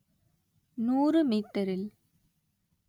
நூறு மீட்டரில்